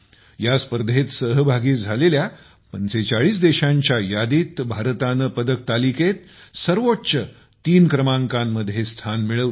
या स्पर्धेत सहभागी झालेल्या 45 देशांच्या यादीत भारताने पदक तालिकेत सर्वोच्च तीन क्रमांकामध्ये स्थान मिळवले